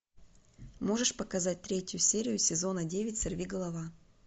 можешь показать третью серию сезона девять сорви голова